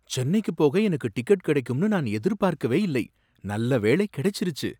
சென்னைக்கு போக எனக்கு டிக்கெட் கிடைக்கும்னு நான் எதிர்பார்க்கவே இல்லை! நல்ல வேளை, கிடைச்சிருச்சு.